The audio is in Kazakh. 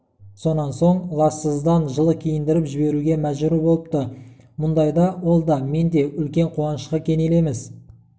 сонан соң лажсыздан жылы киіндіріп жіберуге мәжбүр болыпты мұндайда ол да мен де үлкен қуанышқа кенелеміз